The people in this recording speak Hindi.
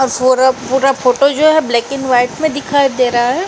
पूरा फोटो जो है ब्लैक एंड व्हाइट में दिखाई दे रहा है।